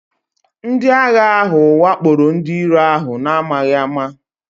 Ndị agha ahụ wakporo ndị iro ahụ n'amaghị ama